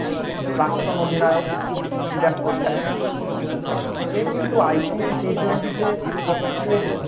প্রাক্তন অধিনায়ক বিরাট কোহলি সে কিন্তু IPLt twenty তে সবচেয়ে বেশি